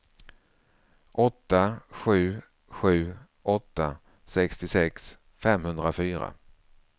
åtta sju sju åtta sextiosex femhundrafyra